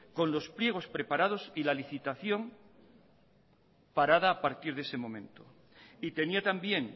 con los pliegos preparados y la licitación parada a partir de ese momento y tenía también